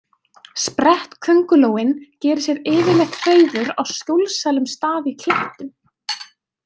Sprettköngulóin gerir sér yfirleitt hreiður á skjólsælum stað í klettum.